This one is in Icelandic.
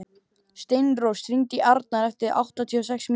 Steinrós, hringdu í Arnar eftir áttatíu og sex mínútur.